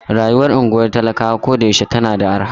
Rayuwar unguwar talakawa koyaushe tana da arha.